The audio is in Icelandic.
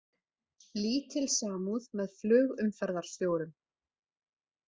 Lítil samúð með flugumferðarstjórum